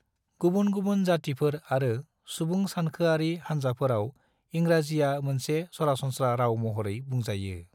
गुबुन-गुबुन जातीफोर आरो सुबुंसानखोआरि हानजाफोराव इंराजिया मोनसे सरासनस्रा राव महरै बुंजायो।